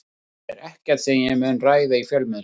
Það er ekkert sem ég mun ræða í fjölmiðlum.